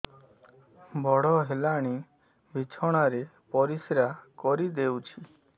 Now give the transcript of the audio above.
ବଡ଼ ହେଲାଣି ବିଛଣା ରେ ପରିସ୍ରା କରିଦେଉଛି